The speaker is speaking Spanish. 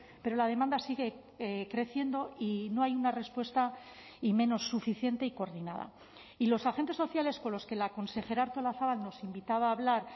pero la demanda sigue creciendo y no hay una respuesta y menos suficiente y coordinada y los agentes sociales con los que la consejera artolazabal nos invitaba a hablar